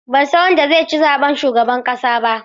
Ban san wanda zai ci zaɓen shugaban ƙasa ba.